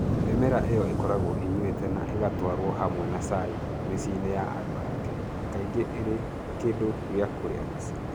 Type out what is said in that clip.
Mĩmera ĩyo ĩkoragwo ĩnyuĩte na ĩgatwarwo hamwe na cai mĩciĩ-inĩ ya andũ a Kenya, kaingĩ ĩrĩ kĩndũ gĩa kũrĩa rũcinĩ.